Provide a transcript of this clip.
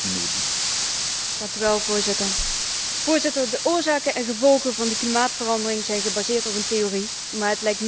Voorzitter, de oorzaken en gevolgen van de klimaatverandering zijn gebaseerd op een theorie, maar het lijkt meer weg te hebben van een religieuze overtuiging.